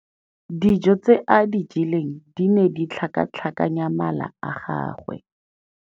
Dijô tse a di jeleng di ne di tlhakatlhakanya mala a gagwe.